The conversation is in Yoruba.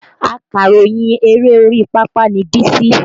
Akàròyìn eré orí pápá ni Bísí